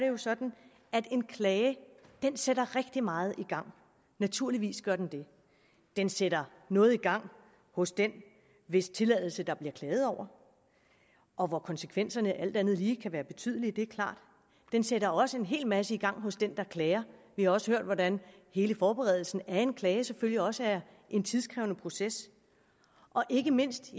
jo sådan at en klage sætter rigtig meget i gang naturligvis gør den det den sætter noget i gang hos den hvis tilladelse der bliver klaget over og hvor konsekvenserne alt andet lige kan blive betydelige det er klart den sætter også en hel masse i gang hos den der klager vi har også hørt hvordan hele forberedelsen af en klage selvfølgelig også er en tidkrævende proces og ikke mindst